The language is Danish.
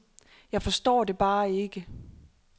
Jeg forstår det bare ikke.